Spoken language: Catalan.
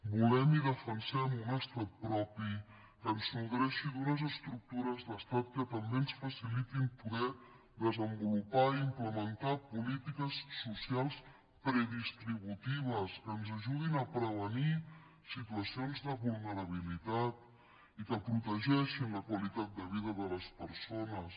volem i defensem un estat propi que ens nodreixi d’unes estructures d’estat que també ens facilitin poder desenvolupar i implementar polítiques socials predistributives que ens ajudin a prevenir situacions de vulnerabilitat i que protegeixin la qualitat de vida de les persones